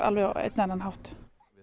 á einn eða annan hátt